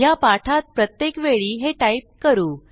ह्या पाठात प्रत्येक वेळी हे टाईप करू